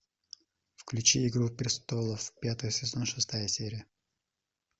включи игру престолов пятый сезон шестая серия